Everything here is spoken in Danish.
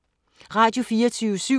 Radio24syv